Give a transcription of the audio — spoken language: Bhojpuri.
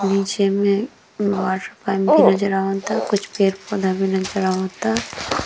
नीचे में नजर आवताकुछ पेड़-पौधा भी नजर आवता।